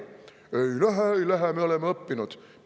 ei lähe, ei lähe, me oleme õppinud!